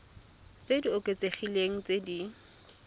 tse di oketsegileng tse di